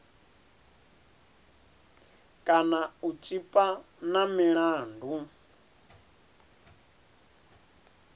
kana u tshipa na milandu